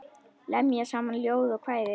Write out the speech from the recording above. Lemja saman ljóð og kvæði.